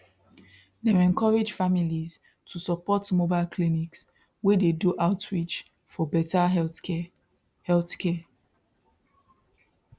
dem encourage families to support mobile clinics wey dey do outreach for better healthcare healthcare